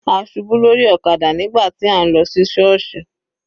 A ṣubú lórí ọ̀kadà nígbà tí à ń lọ sí sọọsi.